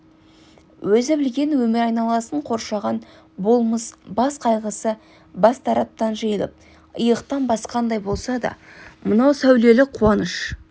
өзі білген өмір айналасын қоршаған болмыс бас қайғысы бар тараптан жиылып иықтан басқандай болса да мынау сәулелі қуаныш